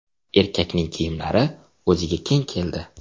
Erkakning kiyimlari o‘ziga keng keldi.